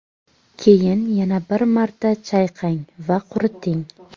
Keyin yana bir marta chayqang va quriting.